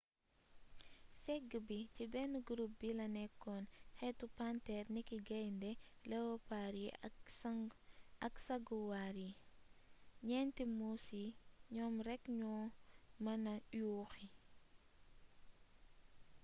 ségg bi ci benn gurup bi la nekk xeetu panteer niki gayndé yi lewopaar yi ak saguwaar yi. ñeenti muus yii ñoom rekk ñoo mën na yuuxi